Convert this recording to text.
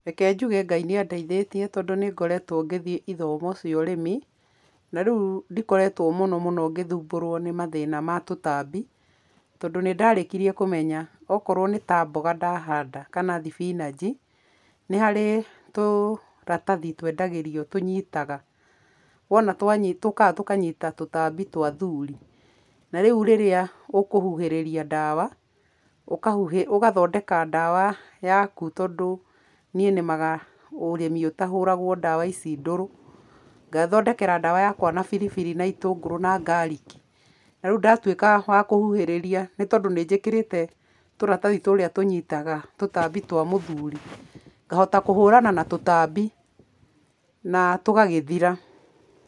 Reke njuge Ngai nĩ andeithĩtie tondũ nĩ ngoretwo ngĩthiĩ ithomo cia ũrĩmi, na rĩu ndikoretwo mũno mũno ngĩthuumbũrwo nĩ mathĩna ma tũtambi, tondũ nĩndarĩkirie kũmenya okorwo nĩ ta mboga ndahanda kana thibinanji, nĩ harĩ tũratathi twendagĩrio tũnyitaga, wona twa tũkaga tũkanyita tũtambi twa athuri. Na rĩu rĩrĩa ũkũhuhĩria ndawa, ũkahuhĩ ũgathondeka ndawa yaku tondũ niĩ nĩmaga ũrĩmi ũtahũragwo dawa ici ndũrũ, ngethondekera ndawa yakwa na biribiri na itũngũrũ na garlic, na rĩu ndatwĩka wa kũhuhĩrĩria, nĩ tondũ nĩnjĩkĩrĩte tũratathi tũria tũnyitaga tũtambi twa mũthuri ngahota kũhũrana na tũtambi, na tũgagĩthira.